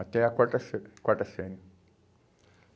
Até a quarta série. Quarta série.